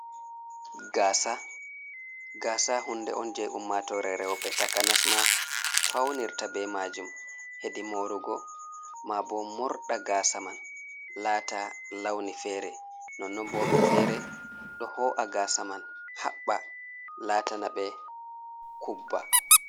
Gasa, gasa hunɗe on je ummatore rewɓe takanasma faunirta ɓe majum, heɗi morugo. Ma ɓo morɗa gasa man lata launi fere. Nonnon woɓɓe fere ɗo ho’a gasa man haɓɓa latana ɓe kuɓɓa.